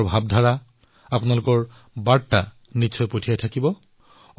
আপোনালোকে নিজৰ বাৰ্তা চিন্তাধাৰা নিশ্চয়কৈ প্ৰেৰণ কৰি থাকিব